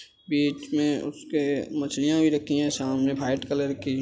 बीच में उसके मछलियाँ भी रखीं हैं सामने वाइट कलर की --